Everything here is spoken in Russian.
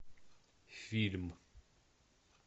фильм